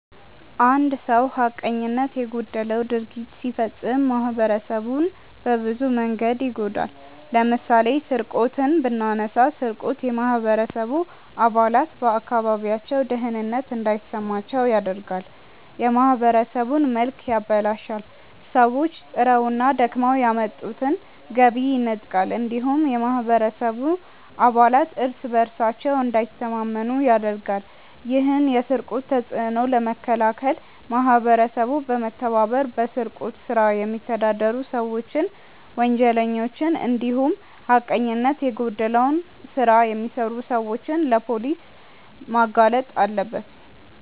አንድ ሰው ሀቀኝነት የጎደለው ድርጊት ሲፈጽም ማህበረሰቡን በብዙ መንገድ ይጎዳል። ለምሳሌ ስርቆትን ብናነሳ ስርቆት የማህበረሰቡ አባላት በአካባቢያቸው ደህንነት እንዳይሰማቸው ያደርጋል፣ የማህበረሰቡን መልክ ያበላሻል፣ ሰዎች ጥረውና ደክመው ያመጡትን ገቢ ይነጥቃል እንዲሁም የማህበረሰቡ አባላት እርስ በእርሳቸው እንዳይተማመኑ ያደርጋል። ይህን የስርቆት ተጽዕኖ ለመከላከል ማህበረሰቡ በመተባበር በስርቆት ስራ የሚተዳደሩ ሰዎችን፣ ወንጀለኞችን እንዲሁም ሀቀኝነት የጎደለው ስራ የሚሰሩ ሰዎችን ለፖሊስ ማጋለጥ አለበት።